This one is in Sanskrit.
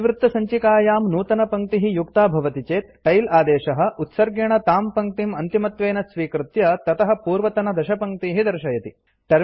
इतिवृत्तसञ्चिकायां नूतनपङ्क्तिः युक्ता भवति चेत् टेल आदेशः उत्सर्गेण तां पङ्क्तिम् अन्तिमत्वेन स्वीकृत्य ततः पूर्वतनदशपङ्क्तीः दर्शयति